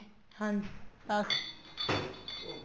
ਹਾਂਜੀ ਅੱਛਾ